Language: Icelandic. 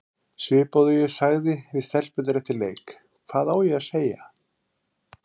Svipað og ég sagði við stelpurnar eftir leik, hvað á ég að segja?